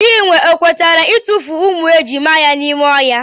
Chinwe ọ kwetere itufu ụmụ ejima ya n'ime ohia?